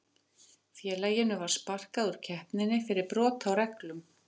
Félaginu var sparkað úr keppninni fyrir brot á reglum.